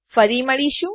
ફરી મળીશું